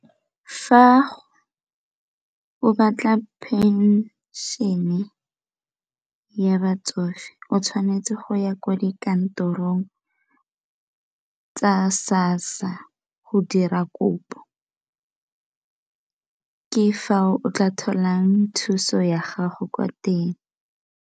Fa o batla phenšene ya batsofe o tshwanetse go ya kwa dikantorong tsa SASSA ka go dira kopo, ke fao tla tholang thuso ya gago kwa teng ka.